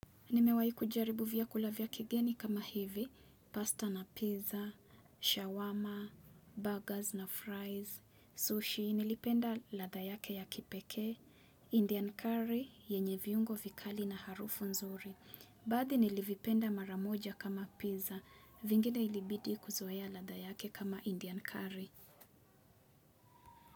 Nimewahi kujaribu vyakula vya kigeni kama hivi, pasta na pizza, shawarma, burgers na fries, sushi, nilipenda ladha yake ya kipekee, Indian curry, yenye viungo vikali na harufu nzuri. Baadhi nilivipenda mara moja kama pizza, vingine ilibidi kuzoea ladha yake kama Indian curry.